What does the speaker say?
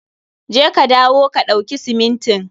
Je ka dawo ka ɗauki simintin.